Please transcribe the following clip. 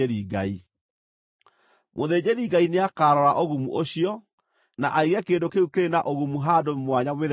Mũthĩnjĩri-Ngai nĩakarora ũgumu ũcio, na aige kĩndũ kĩu kĩrĩ na ũgumu handũ mwanya mĩthenya mũgwanja.